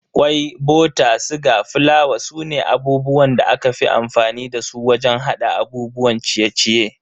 Kwai, bota, siga, fulawa sune abubuwan da aka fi amfani dasu wajen hada abubuwan ciye-ciye.